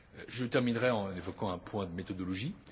Je terminerai en évoquant un point de méthodologie.